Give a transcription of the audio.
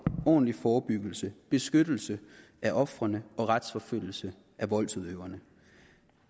ordentlig forebyggelse beskyttelse af ofrene og retsforfølgelse af voldsudøverne